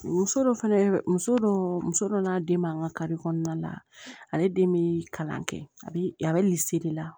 Muso dɔ fana ye muso dɔ muso dɔ n'a den man ka kari kɔnɔna na ale den bɛ kalan kɛ a bi a bɛ la